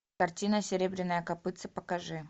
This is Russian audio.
картина серебряное копытце покажи